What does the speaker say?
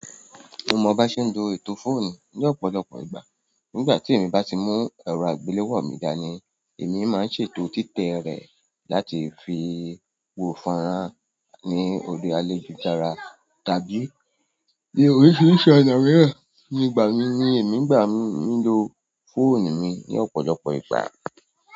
Mo mo ba se n lo ètò fóònù ni ọ̀pọ̀lọpọ̀ ìgbà. Nígbà tí èmi bá ti mú ẹ̀rọ àgbéléwò mi dání, èmi máa n ṣètò títẹ rẹ̀ láti fi wo fonrán ní òri alejujara tàbí ní oríṣiríṣi ọ̀nà mìíràn. Nígbà mìí ni èmi n gbà mí ń lo fóònù mi ní ọ̀pọ̀lọpọ̀ ìgbà.